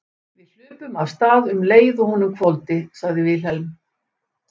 Við hlupum af stað um leið og honum hvolfdi, sagði Vilhelm.